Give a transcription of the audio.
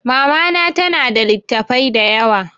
Mama na ta na da littafai da yawa